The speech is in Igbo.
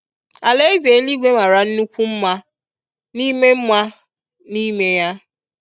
alaeze eligwe mara nnukwu nma n'ime nma n'ime ya.